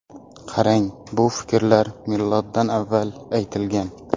Qarang, bu fikrlar miloddan avval aytilgan.